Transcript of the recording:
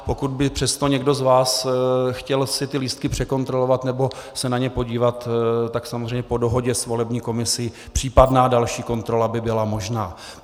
Pokud by přesto někdo z vás si chtěl ty lístky překontrolovat nebo se na ně podívat, tak samozřejmě po dohodě s volební komisí případná další kontrola by byla možná.